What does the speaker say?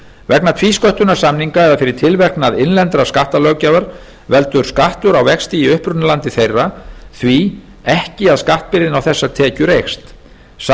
vegna tvísköttunarsamninga eða fyrir tilverknað innlendrar skattalöggjafar veldur skattur á vexti í upprunalandi þeirra því ekki að skattbyrðin á þessar tekjur eykst sá